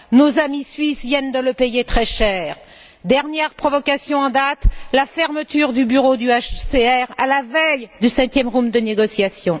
Nos amis suisses viennent de le payer très cher. Dernière provocation en date, la fermeture du bureau du HCR à la veille du septième round de négociations.